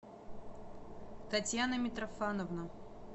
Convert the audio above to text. татьяна митрофановна